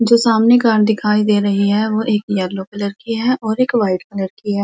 जो सामने कार दिखाई दे रही है। वो एक येलो कलर की है और एक व्हाइट कलर की है।